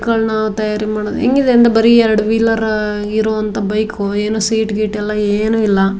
ಮಕ್ಕಳನ ತಯಾರಿ ಮಾಡಿರೋ ಹೆಂಗಿದೆ ಅಂದ್ರೆ ಬರಿ ಎರಡು ವೀಲರ್ ಆಗಿರೋ ಅಂತ್ತ್ ಬೈಕ್ ಏನ್ ಸೀಟ್ ಗೀಟ ಎಲ್ಲಾ ಏನು ಇಲ್ಲ.